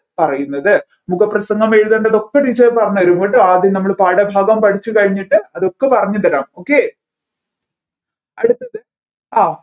പറയുന്നത് മുഖപ്രസംഗം എഴുതേണ്ടതൊക്കെ teacher പറഞ്ഞുതരും കേട്ടോ ആദ്യം നമ്മൾ പാഠഭാഗം പഠിച്ചു കഴിഞ്ഞിട്ട് അതൊക്കെ പറഞ്ഞുതരാം okay അടുത്തത്ത് ആ